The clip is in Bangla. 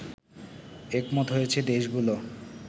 একমত হয়েছে দেশগুলো